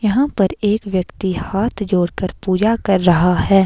यहां पर एक व्यक्ति हाथ जोड़कर पूजा कर रहा है।